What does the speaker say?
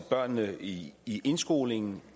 børnene i i indskolingen